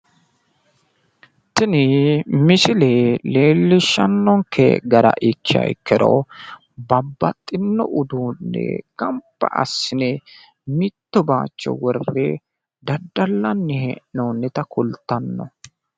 tini misile leelishanonke gara ikkiha ikkiro babaxxino uduunne gamba assine mitto baayicho worre daddalanni hee'noonita kultano.